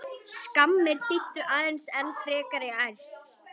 Skammir þýddu aðeins enn frekari ærsl.